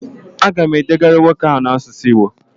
Agam edegara nwoke ahu na asusu igbo